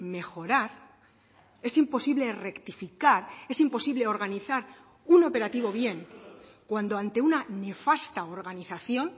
mejorar es imposible rectificar es imposible organizar un operativo bien cuando ante una nefasta organización